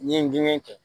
N ye gɛɲɛ kɛ